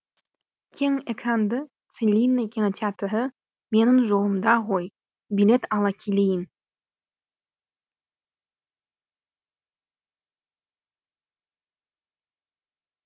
кең экранды целинный кинотеатры менің жолымда ғой билет ала келейін